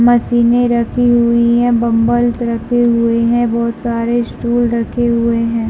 मशीने रखी हुई है बम्बल रखे हुए है बहोत सारे स्टूल रखे हुए है।